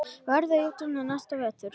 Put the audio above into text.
Verður í útlöndum næsta vetur.